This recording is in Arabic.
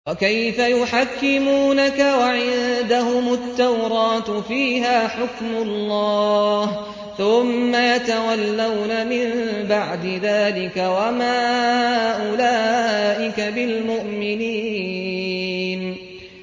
وَكَيْفَ يُحَكِّمُونَكَ وَعِندَهُمُ التَّوْرَاةُ فِيهَا حُكْمُ اللَّهِ ثُمَّ يَتَوَلَّوْنَ مِن بَعْدِ ذَٰلِكَ ۚ وَمَا أُولَٰئِكَ بِالْمُؤْمِنِينَ